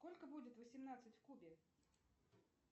сколько будет восемнадцать в кубе